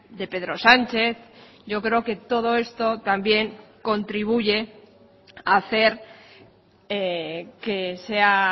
de pedro sánchez yo creo que todo esto también contribuye a hacer que sea